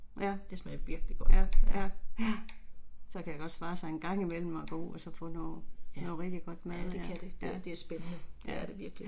Ja, ja, ja. Så kan det godt svare sig en gang imellem og gå ud og så få noget noget rigtig godt mad, ja, ja, ja